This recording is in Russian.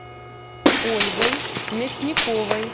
ольгой мясниковой